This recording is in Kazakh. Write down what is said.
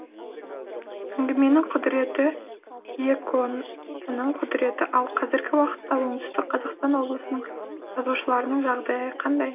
әңгіменің құдіреті киікотының құдіреті ал қазіргі уақытта оңтүстік қазақстан облысының жазушыларының жағдайы қандай